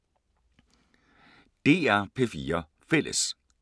DR P4 Fælles